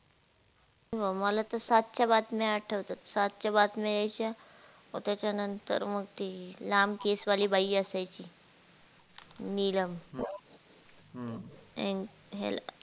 आमाला तर सातशे बातम्या आठवतात सातशे बातम्या यायच्या म त्याचा नंतर म ती लांब केसवाली बाई असायची नीलम अह